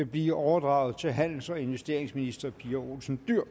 blive overdraget til handels og investeringsminister pia olsen dyhr